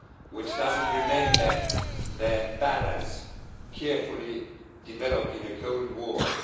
which doesn't remember the balance carefully developed in the Cold War.